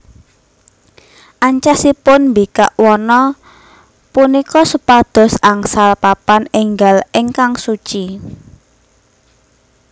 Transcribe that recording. Ancasipun mbikak wana punika supados angsal papan enggal ingkang suci